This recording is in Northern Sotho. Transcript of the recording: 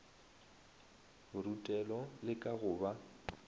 borutelo le ka go ba